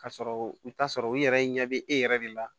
Ka sɔrɔ i bi t'a sɔrɔ u yɛrɛ ɲɛ bɛ e yɛrɛ de la